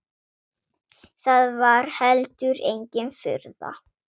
Það var heldur engin furða.